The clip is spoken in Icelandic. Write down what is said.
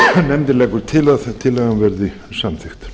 nefndin leggur til að tillagan verði samþykkt